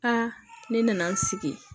Aa ne nana n sigi